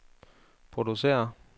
producerer